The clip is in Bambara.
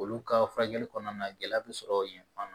Olu ka furakɛli kɔnɔna na gɛlɛya bi sɔrɔ yen fan